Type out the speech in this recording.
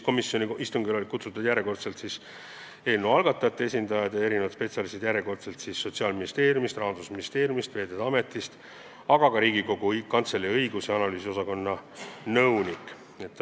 Komisjoni istungile olid siis kutsutud järjekordselt eelnõu algatajate esindajad ja spetsialistid Sotsiaalministeeriumist, Rahandusministeeriumist, Veeteede Ametist, aga ka Riigikogu Kantselei õigus- ja analüüsiosakonna nõunik.